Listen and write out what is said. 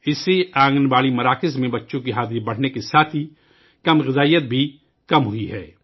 اس سے آنگن واڑی مراکز میں بچوں کی حاضری بڑھنے سے تغذیہ کی کمی بھی کم ہوئی ہے